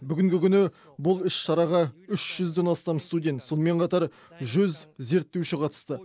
бүгінгі күні бұл іс шараға үш жүзден астам студент сонымен қатар жүз зерттеуші қатысты